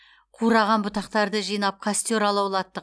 қураған бұтақтарды жинап костер алаулаттық